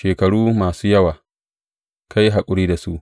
Shekaru masu yawa ka yi haƙuri da su.